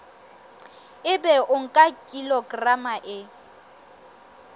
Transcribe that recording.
ebe o nka kilograma e